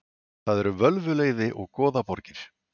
Það eru völvuleiði og goðaborgir.